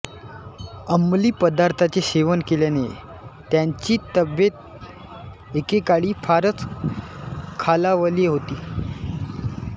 अंमली पदार्थांचे सेवन केल्याने त्यांची तब्येत एकेकाळी फारच खालावली होती